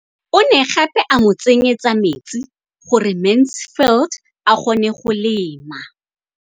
O ne gape a mo tsenyetsa metsi gore Mansfield a kgone go lema.